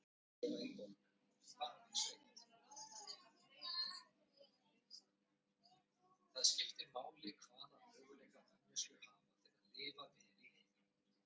sagði Drífa og sá að móðir hennar roðnaði af reiði þótt hún brygði ekki svip.